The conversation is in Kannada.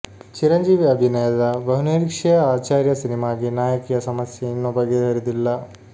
ಚಿರಂಜೀವಿ ಅಭಿನಯದ ಬಹುನಿರೀಕ್ಷೆಯ ಆಚಾರ್ಯ ಸಿನಿಮಾಗೆ ನಾಯಕಿಯ ಸಮಸ್ಯೆ ಇನ್ನೂ ಬಗೆಹರಿದಿಲ್ಲ